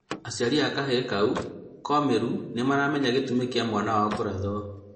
Aciari a kahĩĩ kau komĩru nĩmaramenya gĩtũmi kia mwana wao kũrathwo